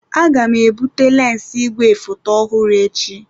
Aga m ebute lensi igwefoto ọhụrụ echi.